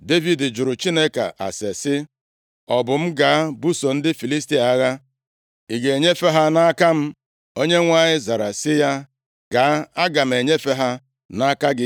Devid jụrụ Chineke ase sị, “Ọ bụ m gaa buso ndị Filistia agha? Ị ga-enyefe ha nʼaka m?” Onyenwe anyị zara sị ya, “Gaa, aga m enyefe ha nʼaka gị.”